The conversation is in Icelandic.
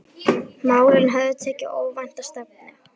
Málin höfðu tekið óvænta stefnu.